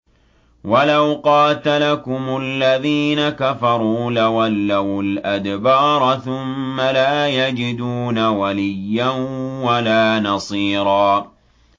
وَلَوْ قَاتَلَكُمُ الَّذِينَ كَفَرُوا لَوَلَّوُا الْأَدْبَارَ ثُمَّ لَا يَجِدُونَ وَلِيًّا وَلَا نَصِيرًا